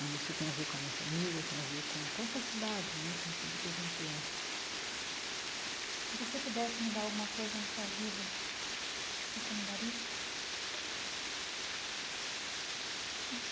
E isso tem a ver com a minha família, tem a ver com com essa cidade né, com tudo que a gente é. Se você pudesse mudar alguma coisa na sua vida, você mudaria?